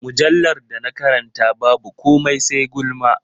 Mujallar da na karanta babu komai sai gulma.